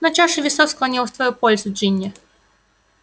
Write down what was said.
но чаша весов склонилась в твою пользу джинни